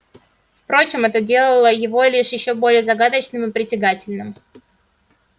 впрочем это делало его лишь ещё более загадочным и притягательным